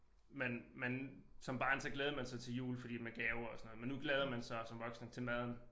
Man man som barn så glædede man sig til jul fordi med gaver og sådan noget men nu glæder man sig som voksen til maden